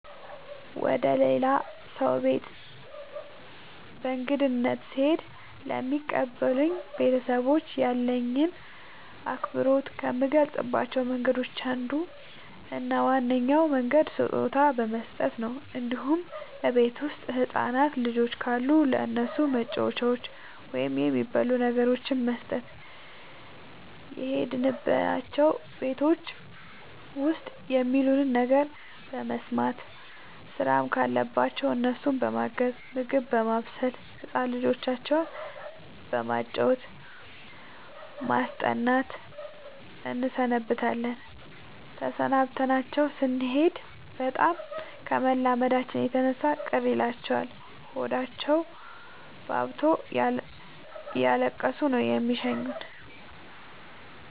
ወደ ሌላ ሰው ቤት በእንግድነት ስሄድ ለሚቀበሉኝ ቤተሰቦች ያለኝን አክብሮት ከምገልፅባቸው መንገዶች አንዱ እና ዋነኛው መንገድ ስጦታ በመስጠት ነው እንዲሁም እቤት ውስጥ ህፃናት ልጆች ካሉ ለእነሱ መጫወቻዎችን ወይም የሚበሉ ነገሮችን በመስጠት። የሄድንባቸው ቤቶች ውስጥ የሚሉንን ነገር በመስማት ስራም ካለባቸው እነሱን በማገዝ ምግብ በማብሰል ህፃን ልጆቻቸው በማጫወት በማስጠናት እንሰነብታለን ተሰናብተናቸው ስኔድ በጣም ከመላመዳችን የተነሳ ቅር ይላቸዋል ሆዳቸውባብቶ እያለቀሱ ነው የሚሸኙን።